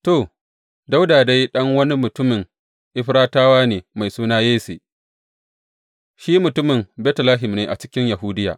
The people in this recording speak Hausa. To, Dawuda dai ɗan wani mutumin Efratawa ne mai suna Yesse, shi mutumin Betlehem ne a cikin Yahudiya.